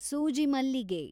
ಸೂಜಿ ಮಲ್ಲಿಗೆ